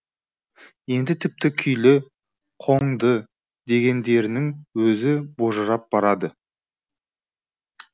енді тіпті күйлі қоңды дегендерінің өзі божырап барады